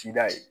Tida ye